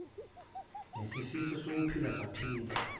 nisifiso sokuphila saphinde